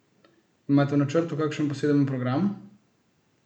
Imate v načrtu kakšen poseben program?